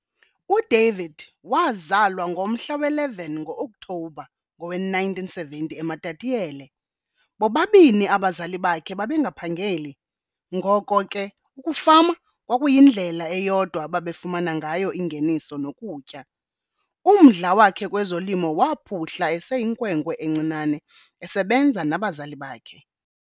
UDavid wazalwa ngomhla we-11 ngo-Okthobha ngowe-1970 eMatatiele. Bobabini abazali bakhe babengaphangeli, ngoko ke ukufama kwakuyindlela eyodwa ababefumana ngayo ingeniso nokutya. Umdla wakhe kwezolimo waphuhla eseyinkwenkwe encinane esebenza nabazali bakhe.